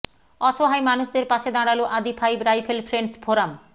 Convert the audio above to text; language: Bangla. অসহায় মানুষদের পাশে দাঁড়াল Adi five rifle friends forum